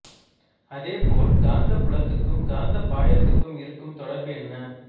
அதேபோல் காந்த புலத்துக்கும் காந்த பாயத்துக்கும் இருக்கும் தொடர்பு என்ன